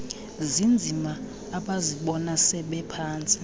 zinzima abazibona sebephantsi